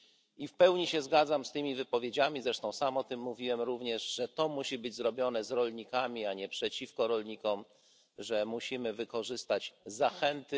I w pełni się zgadzam z tymi wypowiedziami, zresztą sam o tym mówiłem również, że to musi być zrobione z rolnikami, a nie przeciwko rolnikom, że musimy wykorzystać zachęty.